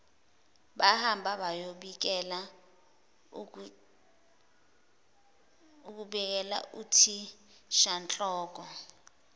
bahamba bayobikela uthishanhloko